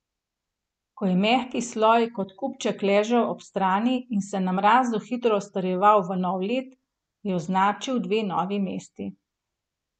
Ko je mehki sloj kot kupček ležal ob strani in se na mrazu hitro strjeval v nov led, je označil dve novi mesti.